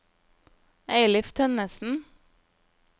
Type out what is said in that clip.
Eilif Tønnessen